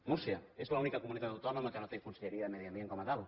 múrcia és l’única comunitat autònoma que no té conselleria de medi ambient com a tal